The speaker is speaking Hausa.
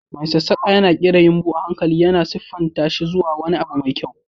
Mai sassaƙa yana ƙera yumɓu a hankali, yana siffanta shi zuwa wani abu mai kyau.